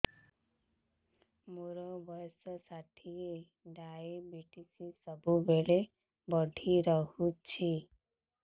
ମୋର ବର୍ଷ ଷାଠିଏ ଡାଏବେଟିସ ସବୁବେଳ ବଢ଼ା ରହୁଛି